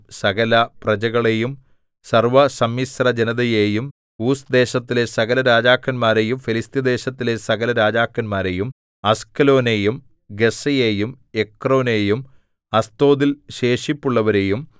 സകലപ്രജകളെയും സർവ്വസമ്മിശ്രജനതയെയും ഊസ് ദേശത്തിലെ സകല രാജാക്കന്മാരെയും ഫെലിസ്ത്യദേശത്തിലെ സകല രാജാക്കന്മാരെയും അസ്കലോനെയും ഗസ്സയെയും എക്രോനെയും അസ്തോദിൽ ശേഷിപ്പുള്ളവരെയും